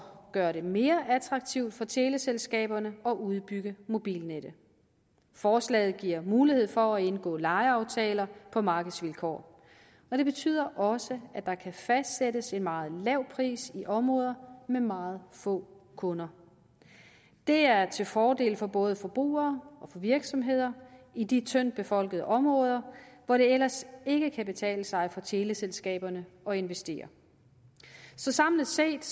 gøre det mere attraktivt for teleselskaberne at udbygge mobilnettet forslaget giver mulighed for at indgå lejeaftaler på markedsvilkår det betyder også at der kan fastsættes en meget lav pris i områder med meget få kunder det er til fordel for både forbrugere og for virksomheder i de tyndt befolkede områder hvor det ellers ikke kan betale sig for teleselskaberne at investere så samlet set